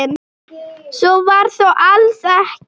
Svo var þó alls ekki.